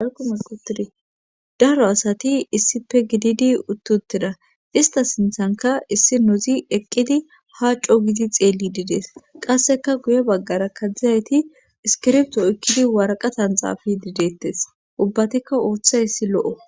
Alqumulqutidi daro asati issife gididi uttuteda ista sinthanka issi nozi eqqidi haaco gidi xeelli dides qasseka guye baggara kaddzizayti iskirpto ekkidi waraqatan xaafi dideettes ubbatikka ooththa issi lo7o.